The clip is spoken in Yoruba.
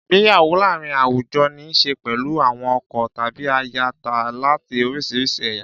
Ìgbéyàwó láàárín àwùjọ ní í ṣe pẹ̀lú àwọn ọkọ tàbí aya láti oríṣiríṣi ẹ̀yà.